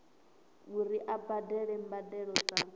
uri a badele mbadelo dza